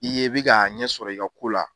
I ye i bi ka ɲɛ sɔrɔ i ka ko la